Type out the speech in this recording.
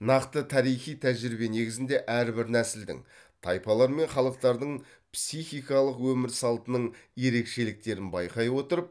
нақты тарихи тәжірибе негізінде әрбір нәсілдің тайпалар мен халықтардың психикалық өмір салтының ерекшеліктерін байқай отырып